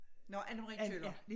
Nåh Anne Marie Kjøller